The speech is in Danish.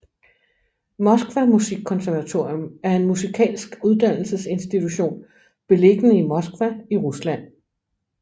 Moskva musikkonservatorium er en musikalsk uddannelsesinstitution beliggende i Moskva i Rusland